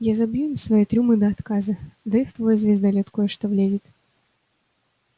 я забью им свои трюмы до отказа да и в твой звездолёт кое-что влезет